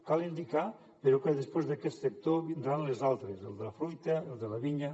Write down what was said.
cal indicar però que després d’aquest sector vindran els altres el de fruita el de la vinya